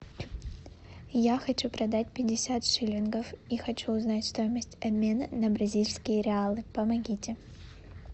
я хочу продать пятьдесят шиллингов и хочу узнать стоимость обмена на бразильские реалы помогите